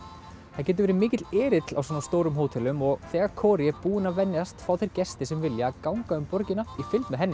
það getur verið mikill erill á svona stórum hótelum og þegar er búin að venjast fá þeir gestir sem vilja að ganga um borgina í fylgd með henni